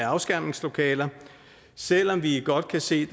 afskærmningslokaler selv om vi godt kan se